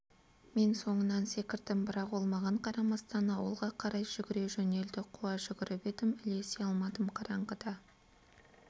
мен соңынан секірдім бірақ ол маған қарамастан ауылға қарай жүгіре жөнелді қуа жүгіріп едім ілесе алмадым қараңғыда